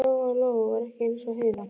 Lóa Lóa var ekki eins og Heiða